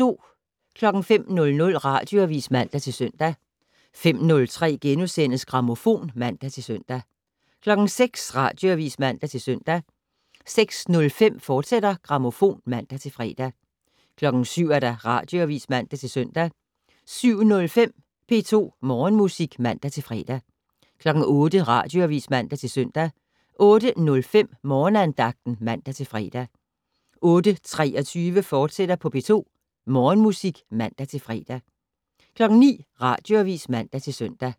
05:00: Radioavis (man-søn) 05:03: Grammofon *(man-søn) 06:00: Radioavis (man-søn) 06:05: Grammofon, fortsat (man-fre) 07:00: Radioavis (man-søn) 07:05: P2 Morgenmusik (man-fre) 08:00: Radioavis (man-søn) 08:05: Morgenandagten (man-fre) 08:23: P2 Morgenmusik, fortsat (man-fre) 09:00: Radioavis (man-søn)